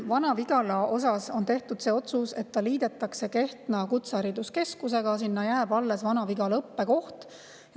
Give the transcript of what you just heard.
Vana-Vigala kohta on tehtud otsus, et see liidetakse Kehtna Kutsehariduskeskusega ja jääb alles Vana-Vigala õppekoht.